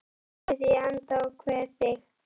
Ég kyssi þig í anda og kveð þig